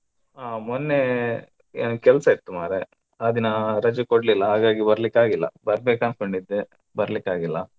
ಆ ಮೊನ್ನೆ ಕೆಲಸ ಇತ್ತು ಮಾರ್ರೆ ಆ ದಿನ ರಜೆ ಕೊಡ್ಲಿಲ್ಲ ಹಾಗಾಗಿ ಬರ್ಲಿಕ್ಕಾಗ್ಲಿಲ್ಲ ಬರ್ಬೇಕು ಅನ್ಕೊಂಡೆ ಬರ್ಲಿಕ್ಕಾಗ್ಲಿಲ್ಲ.